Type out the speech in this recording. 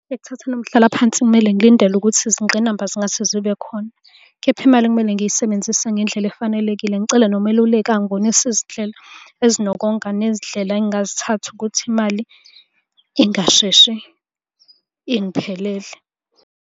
Ekuthatheni umhlalaphansi kumele ngilindele ukuthi izingqinamba zingase zibe khona, kepha imali kumele ngiyisebenzise ngendlela efanelekile. Ngicele nomeluleki angibonise izindlela ezinokonga, nezindlela engingazithatha ukuthi imali ingasheshe ingiphelele.